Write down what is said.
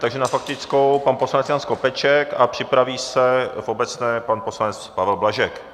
Takže na faktickou pan poslanec Jan Skopeček a připraví se v obecné pan poslanec Pavel Blažek.